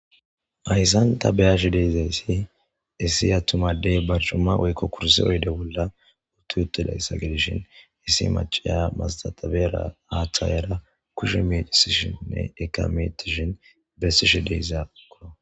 Ayssanta beyashi dezayssi issi attumadey barcumma woykko kursi oyde bolla uttu yuttu layssa gidishin issi macaya masatabera aaththa yera kushe medisishinne ekametishin bessishi deyzako.